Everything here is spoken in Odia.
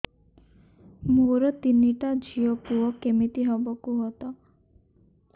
ମୋର ତିନିଟା ଝିଅ ପୁଅ କେମିତି ହବ କୁହତ